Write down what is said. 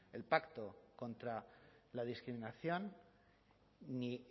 el pacto contra la discriminación ni